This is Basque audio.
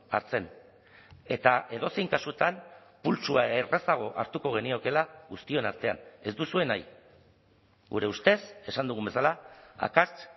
hartzen eta edozein kasutan pultsua errazago hartuko geniokeela guztion artean ez duzue nahi gure ustez esan dugun bezala akats